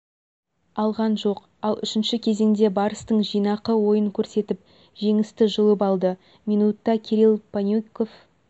алған жоқ ал үшінші кезеңде барыстың жинақы ойын көрсетіп жеңісті жұлып алды минутта кирилл панюков